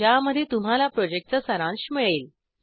ज्यामध्ये तुम्हाला प्रॉजेक्टचा सारांश मिळेल